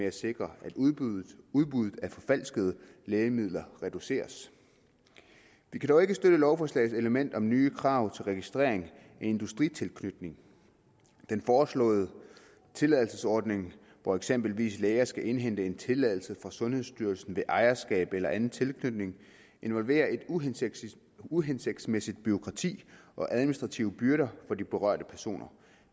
at sikre at udbuddet udbuddet af forfalskede lægemidler reduceres vi kan dog ikke støtte lovforslagets element om nye krav til registrering af industritilknytning den foreslåede tilladelsesordning hvor eksempelvis læger skal indhente en tilladelse fra sundhedsstyrelsen ved ejerskab eller anden tilknytning involverer et uhensigtsmæssigt uhensigtsmæssigt bureaukrati og administrative byrder for de berørte personer